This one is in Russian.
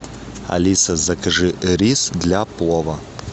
алиса закажи рис для плова